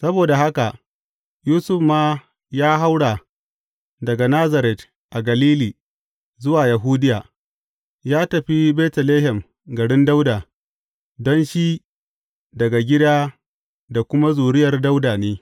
Saboda haka Yusuf ma ya haura daga Nazaret a Galili zuwa Yahudiya, ya tafi Betlehem garin Dawuda, don shi daga gida da kuma zuriyar Dawuda ne.